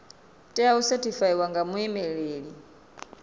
tea u sethifaiwa nga muimeli